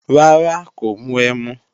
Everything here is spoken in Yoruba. Rárá, kò mu ẹmu